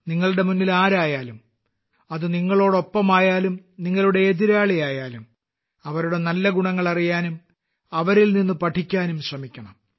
നിങ്ങളുടെ മുന്നിൽ ആരായാലും അത് നിങ്ങളോടൊപ്പമായാലും നിങ്ങളുടെ എതിരാളിയായാലും അവരുടെ നല്ല ഗുണങ്ങൾ അറിയാനും അവരിൽ നിന്ന് പഠിക്കാനും ശ്രമിക്കണം